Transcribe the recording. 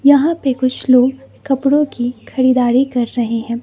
यहां पे कुछ लोग कपड़े की खरीदारी कर रहे हैं।